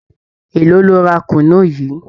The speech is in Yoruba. Élòó lo ra kùnú yìí?